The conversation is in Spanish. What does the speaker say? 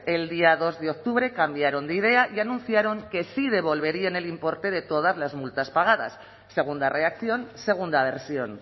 el día dos de octubre cambiaron de idea y anunciaron que sí devolverían el importe de todas las multas pagadas segunda reacción segunda versión